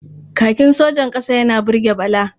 Kakin sojan ƙasa yana burge Bala.